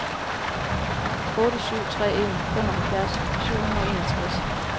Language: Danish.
otte syv tre en femoghalvfjerds syv hundrede og enogtres